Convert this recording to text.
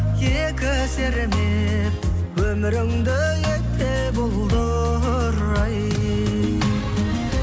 екі сермеп өміріңді етпе бұлдыр ай